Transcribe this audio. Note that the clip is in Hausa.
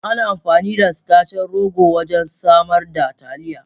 Ana amfani da sitacin rogo wajen samar da Taliya.